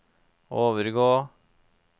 overgå